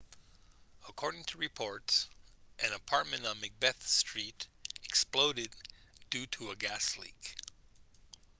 according to reports an apartment on macbeth street exploded due to a gas leak